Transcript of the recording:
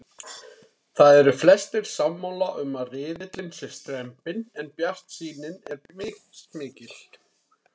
Það eru flestir sammála um að riðillinn sé strembinn en bjartsýnin er mismikil.